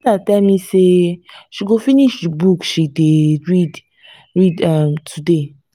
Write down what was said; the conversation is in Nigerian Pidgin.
my sister tell me say she go finish the book she dey read read today